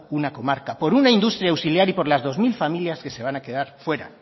una comarca por una industria auxiliar y por las dos mil familias que se van a quedar fuera